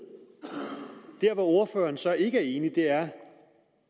der hvor ordføreren så ikke er enig er